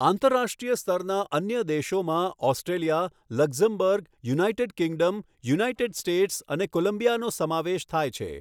આંતરરાષ્ટ્રીય સ્તરના અન્ય દેશોમાં Australia, Luxembourg, United Kingdom, United States અને કોલંબિયાનો સમાવેશ થાય છે.